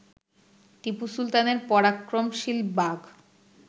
টিপু সুলতানের পরাক্রমশীল বাঘ